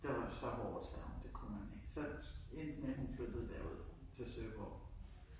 Det var jo så hårdt sagde hun det kunne man ikke så endte med at hun flyttede derud til Søborg